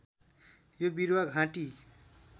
यो बिरुवा घाँटी